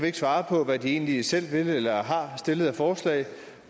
ikke svare på hvad de egentlig selv vil eller har stillet af forslag